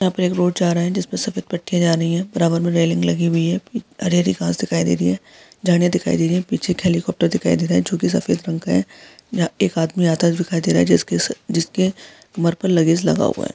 यहाँ पे एक रोड जा रहा है जिसमे सफ़ेद पट्टिया जा रही है बराबर में रेलिंग लगी हुई है हरी हरी घास दिखाई दे रही है झाडिया दिखाई दे रही पीछे एक हेलीकाप्टर दिखाई दे रहा है जो की सफ़ेद रंग का है यहाँ पर एक आदमी आता हुआ दिखाई दे रहा जिसके जिसके लेस लगा हुआ है।